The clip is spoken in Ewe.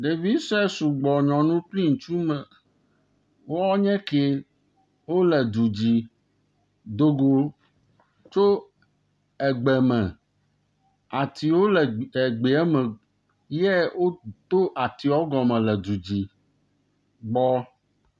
Ɖevisue sɔgbɔ nɔ nu kple ŋtsu ma wo nye ke wole du dzi do go tso egbe me. Atiwo le egbea me ye woto atiawo gɔme le du dzi gbɔ.